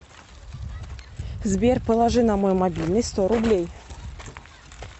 сбер положи на мой мобильный сто рублей